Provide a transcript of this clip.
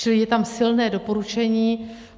Čili je tam silné doporučení.